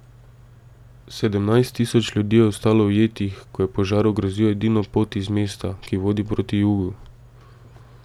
Sedemnajst tisoč ljudi je ostalo ujetih, ko je požar ogrozil edino pot iz mesta, ki vodi proti jugu.